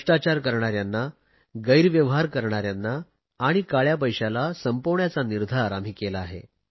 भ्रष्टाचार करणाऱ्यांना गैर व्यवहार करणाऱ्यांना आणि काळया पैशाला संपविण्याचा निर्धार आम्ही केला आहे